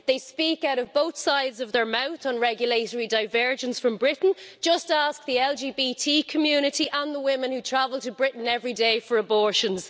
They speak out of both sides of their mouth on regulatory divergence from Britain just ask the LGBT community and the women who travel to Britain every day for abortions.